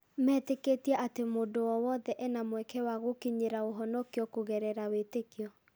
Metĩkĩtie atĩ mũndũ o wothe ena mweke wa gũkinyĩra ũhonokio kũgerera wĩtĩkio.